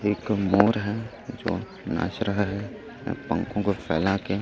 यह एक मोर है जो नाच रहा है पंखों को फैला के।